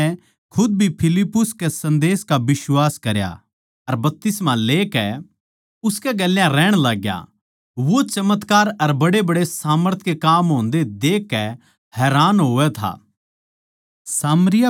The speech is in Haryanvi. फेर शमौन नै खुद भी फिलिप्पुस के संदेश का बिश्वास करया अर बपतिस्मा लेकै उसकै गेल्या रहण लाग्या वो चमत्कार अर बड्डेबड्डे सामर्थ के काम होंदे देखकै हैरान होवै था